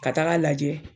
Ka taga lajɛ